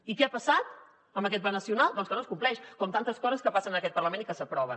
i què ha passat amb aquest pla nacional doncs que no es compleix com tantes coses que passen en aquest parlament i que s’aproven